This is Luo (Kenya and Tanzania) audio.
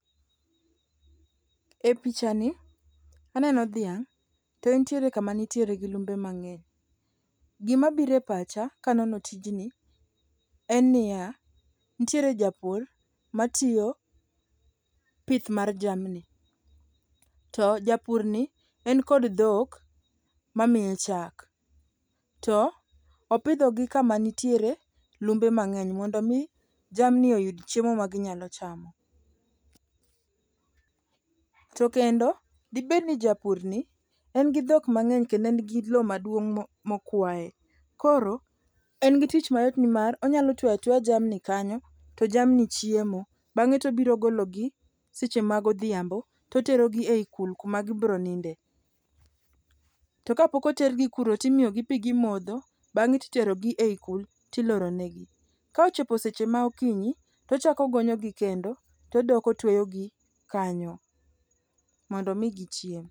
E pichani, aneno dhiang' to entiere kama nitiere gi lumbe mang'eny. Gimabiro e pacha kanono tijni en niya, nitiere japur matiyo pith mar jamni to japurni en kod dhok mamiye chak to opidhogi kamanitiere lumbe mang'eny mondo omi jamni oyud chiemo maginyalo chamo. To kendo dibed ni japurni en gi dhok mang'eny kendo en gi lo maduong' mokwaye, koro en gi tich mayot nimar onyalo twe atweya jamni kanyo to jamni chiemo bang'e tobiro gologi seche magodhiambo toterogi e ikul kuma gibiro ninde. To kapok otergi kuro timiyogi pi gimodho bang'e titerogi e kul tiloronegi. Ka ochopo seche ma okinyi, tochako ogonyogi kendo todok otweyogi kanyo mondo omi gichiem.